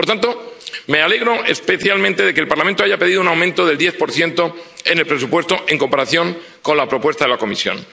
Por tanto, me alegro especialmente de que el Parlamento haya pedido un aumento del 10 del presupuesto en comparación con la propuesta de la Comisión.